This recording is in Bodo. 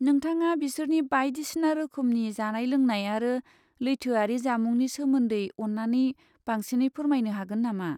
नोंथाङा बेसोरनि बायदिसिना रोखोमनि जानाय लोंनाय आरो लैथोयारि जामुंनि सोमोन्दै अन्नानै बांसिनै फोरमायनो हागोन नामा?